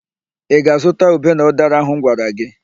Ị ga-azụta ube na ụdara ahụ m gwara gị?